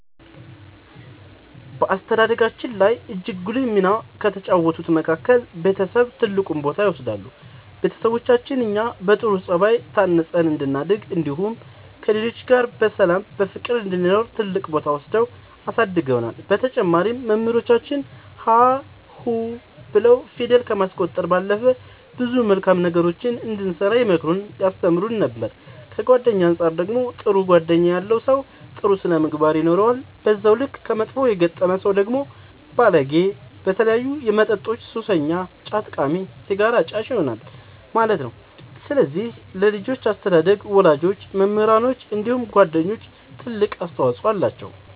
በአስተዳደጋችን ላይ እጅግ ጉልህ ሚና ከተጫወቱት መካከል ቤተሰብ ትልቁን ቦታ ይወስዳሉ ቤተሰቦቻችን እኛ በጥሩ ጸባይ ታንጸን እንድናድግ እንዲሁም ከሌሎች ጋር በሰላም በፍቅር እንድንኖር ትልቅ ቦታ ወስደው አሳድገውናል በተጨማሪም መምህራኖቻችን ሀ ሁ ብለው ፊደል ከማስቆጠር ባለፈ ብዙ መልካም ነገሮችን እንድንሰራ ይመክሩን ያስተምሩን ነበር ከጓደኛ አንፃር ደግሞ ጥሩ ጓደኛ ያለው ሰው ጥሩ ስነ ምግባር ይኖረዋል በዛው ልክ ከመጥፎ የገጠመ ሰው ደግሞ ባለጌ በተለያዩ መጠጦች ሱሰኛ ጫት ቃሚ ሲጋራ አጫሽ ይሆናል ማለት ነው ስለዚህ ለልጆች አስተዳደግ ወላጆች መምህራኖች እንዲሁም ጓደኞች ትልቅ አስተዋፅኦ አላቸው።